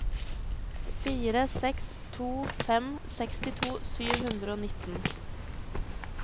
fire seks to fem sekstito sju hundre og nitten